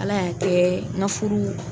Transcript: Ala y'a kɛ n ka furu